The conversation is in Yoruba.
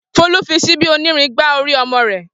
Folú fi ṣíbí onírin gbá orí ọmọ rẹ̀.